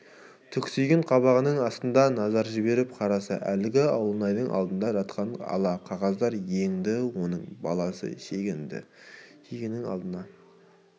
түксиген қабағының астынан назар жіберіп қараса әлгі ауылнайдың алдында жатқан ала қағаздар еңді оның баласы шегенің алдына